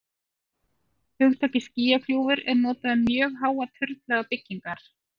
hugtakið skýjakljúfur er notað um mjög háar turnlaga byggingar